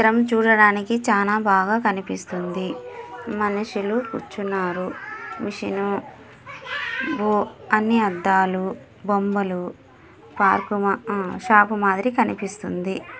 చిత్రం చూడ్డానికి చానా బాగా కనిపిస్తుంది. మనుషులు కూర్చున్నారు. మెషీను ఓ అని అద్దాలు బొమ్మలు పార్క్ మా ఆ షాప్ మాదిరి కనిపిస్తుంది.